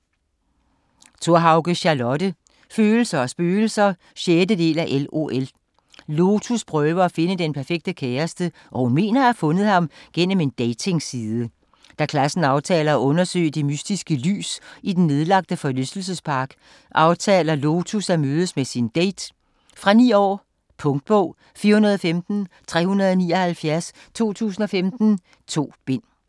Thorhauge, Charlotte: Følelser og spøgelser 6. del af LOL. Lotus prøver at finde den perfekte kæreste, og hun mener at have fundet ham gennem en datingside. Da klassen aftaler at undersøge det mystiske lys i den nedlagte forlystelsespark, aftaler Lotus at mødes med sin date. Fra 9 år. Punktbog 415379 2015. 2 bind.